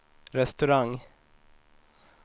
restaurang